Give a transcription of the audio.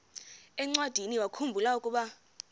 encwadiniwakhu mbula ukuba